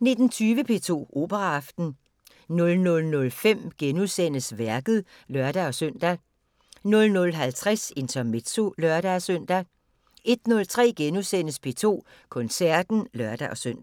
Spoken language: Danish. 19:20: P2 Operaaften 00:05: Værket *(lør-søn) 00:50: Intermezzo (lør-søn) 01:03: P2 Koncerten *(lør-søn)